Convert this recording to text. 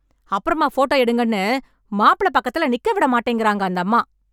அப்றமா ஃபோட்டோ எடுங்கன்னு, மாப்பிள பக்கத்துல நிக்க விடமாட்டேங்கறாங்க அந்தம்மா..